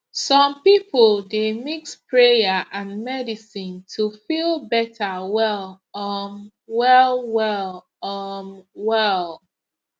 some people dey mix prayer and medicine to feel better well um well well um well